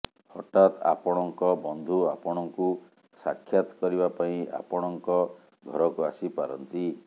ହଠାତ୍ ଆପଣଙ୍କ ବନ୍ଧୁ ଆପଣଙ୍କୁ ସାକ୍ଷାତ କରିବାପାଇଁ ଆପଣଙ୍କ ଘରକୁ ଆସି ପାରନ୍ତି